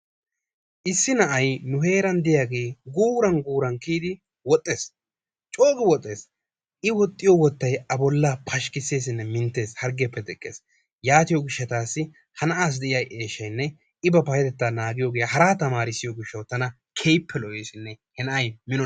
Issi na'ay nu heeran de'iyaagee guuran guuran kiiyidi woxxees. coogi wooxxees i woxxiyoo woottay a bollaa pashikiseesinne minttees harggiyaappe teqqees. yaatiyoo giishshatassi ha na'aasi de'iyaa eshshaynne i ba payatettaa naagiyoogee haraa tamarissiyoo giishawu tana keehippe lo"esinne tana he na'aa